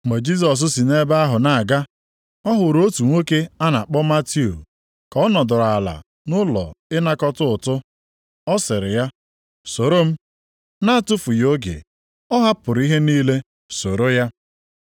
Mgbe Jisọs si nʼebe ahụ na-aga, ọ hụrụ otu nwoke a na-akpọ Matiu ka ọ nọdụrụ ala nʼụlọ ịnakọta ụtụ. Ọ sịrị ya, “Soro m.” Na-atụfughị oge, ọ hapụrụ ihe niile soro ya.